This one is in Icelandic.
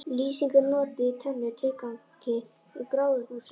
Lýsing er notuð í tvennum tilgangi í gróðurhúsum.